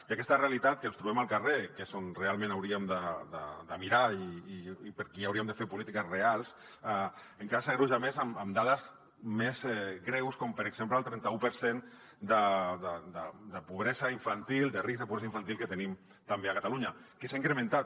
i aquesta realitat que ens trobem al carrer que és on realment hauríem de mirar i per qui hauríem de fer polítiques reals encara s’agreuja més amb dades més greus com per exemple el trenta u per cent de pobresa infantil de risc de pobresa infantil que tenim també a catalunya que s’ha incrementat